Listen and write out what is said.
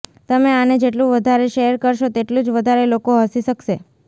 તમે આને જેટલું વધારે શેયર કરશો તેટલું જ વધારે લોકો હસી શકશે